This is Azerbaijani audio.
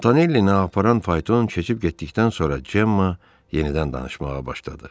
Montanellini aparan fayton keçib getdikdən sonra Cemma yenidən danışmağa başladı.